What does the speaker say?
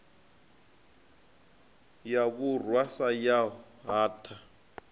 ya vhurwa sa yaho hatha